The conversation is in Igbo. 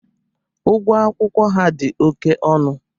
Ugwọ akwụkwọ ha dị oke ọnụ.